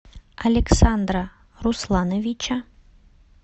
александра руслановича